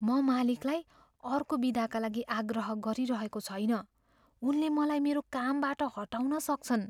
म मालिकलाई अर्को बिदाका लागि आग्रह गरिरहेको छैन। उनले मलाई मेरो कामबाट हटाउन सक्छन्।